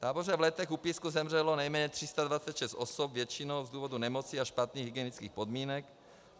V táboře v Letech u Písku zemřelo nejméně 326 osob, většinou z důvodu nemoci a špatných hygienických podmínek.